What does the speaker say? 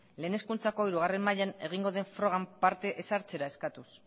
lehen hezkuntzako hirugarren mailan egingo den frogan parte ez hartzera eskatuz